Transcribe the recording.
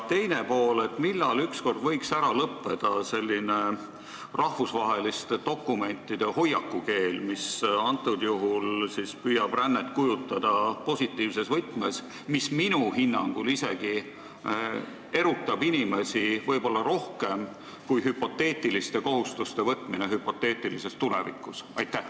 Teiseks, millal ükskord võiks ära lõppeda selline rahvusvaheliste dokumentide hoiakukeel, mis antud juhul püüab rännet kujutada positiivses võtmes, mis minu hinnangul erutab inimesi isegi võib-olla rohkem kui hüpoteetiliste kohustuste võtmine hüpoteetilises tulevikus?